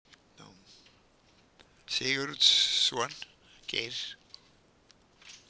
Sigurdsson, Geir.